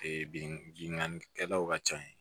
bingani kɛlaw ka ca yen